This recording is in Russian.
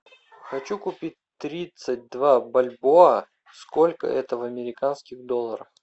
хочу купить тридцать два бальбоа сколько это в американских долларах